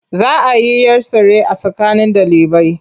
Za a yi 'yar tsere a tsakanin ɗalibai.